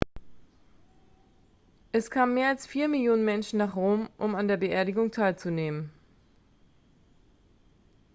es kamen mehr als vier millionen menschen nach rom um an der beerdigung teilzunehmen